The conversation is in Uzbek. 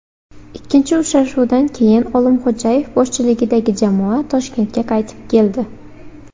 Ikkinchi uchrashuvdan keyin Olimxo‘jayev boshchiligidagi jamoa Toshkentga qaytib keldi.